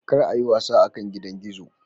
kar a yi wasa akan gidan gizo.